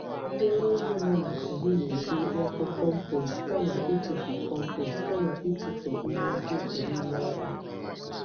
Ndị ọrụ ugbo nọ na Kogi na-eji obo compost kama ịtụfu compost kama ịtụfu ihe mkpofu n'ime ọhịa.